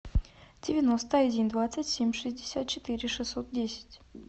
девяносто один двадцать семь шестьдесят четыре шестьсот десять